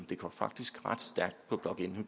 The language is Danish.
det går faktisk ret stærkt